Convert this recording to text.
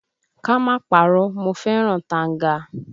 Ká má parọ́, mo fẹ́ràn tanga